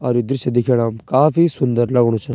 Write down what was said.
और ये दृश्य दिखेणम काफी सुन्दर लगणु च।